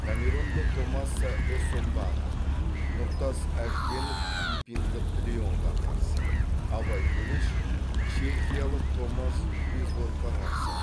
камерундық томаса эссомбаға нұртас әжбенов филиппиндық леонға қарсы абай төлеш чехиялық томас безводқа қарсы